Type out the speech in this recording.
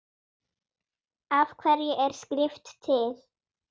Af hverju er skrift til?